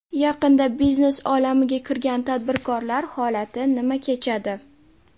Yaqinda biznes olamiga kirgan tadbirkorlar holati nima kechadi?